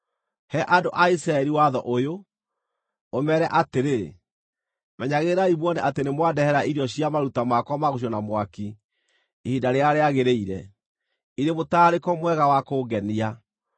“He andũ a Isiraeli watho ũyũ, ũmeere atĩrĩ: ‘Menyagĩrĩrai muone atĩ nĩ mwandehere irio cia maruta makwa ma gũcinwo na mwaki ihinda rĩrĩa rĩagĩrĩire, irĩ mũtararĩko mwega wa kũngenia.’